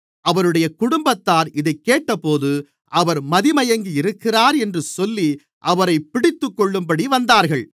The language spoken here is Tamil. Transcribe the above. அவருடைய குடும்பத்தார் இதைக்கேட்டபோது அவர் மதிமயங்கியிருக்கிறார் என்று சொல்லி அவரைப் பிடித்துக்கொள்ளும்படி வந்தார்கள்